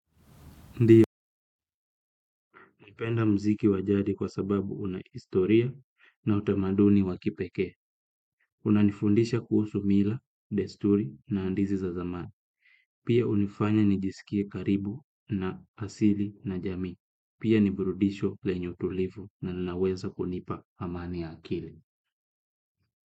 Ndio, napenda muziki wa jadi kwa sababu una historia na utamaduni wa kipekee. Unanifundisha kuhusu mila, desturi na hadithi za zamani. Pia hunifanya nijisikie karibu na asili na jamii. Pia ni burudisho lenye utulivu na linaweza kunipa amani ya akili.